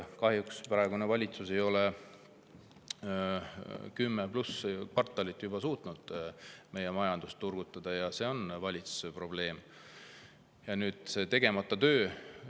Kahjuks praegune valitsus ei ole suutnud juba kümme pluss kvartalit meie majandust turgutada, ja see on valitsuse probleem, see on nende tegemata töö.